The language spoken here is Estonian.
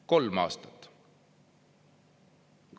Kolm aastat!